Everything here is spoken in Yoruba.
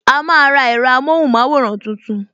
A máa ra ẹ̀rọ amóhùn maworan tuntun